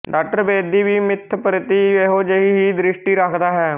ਡਾ ਬੇਦੀ ਵੀ ਮਿੱਥ ਪ੍ਰਤੀ ਇਹੋ ਜਿਹੀ ਹੀ ਦ੍ਰਿਸ਼ਟੀ ਰੱਖਦਾ ਹੈ